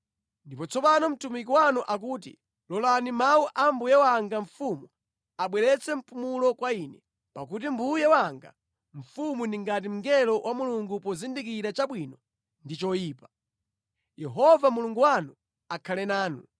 “Ndipo tsopano mtumiki wanu akuti, ‘Lolani mawu a mbuye wanga mfumu abweretse mpumulo kwa ine, pakuti mbuye wanga mfumu ali ngati mngelo wa Mulungu pozindikira chabwino ndi choyipa. Yehova Mulungu wanu akhale nanu.’ ”